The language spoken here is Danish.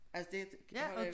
Altså det